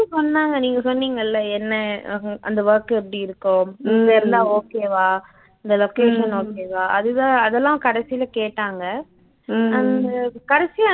சொன்னாங்க நீங்க சொன்னிங்கல்ல என்ன அ அந்த work எப்படி இருக்கும் எல்லாம் okay வா இந்த location okay வா அதுதான் அதெல்லாம் கடைசியில கேட்டாங்க அவங்க கடைசியா